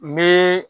N bɛ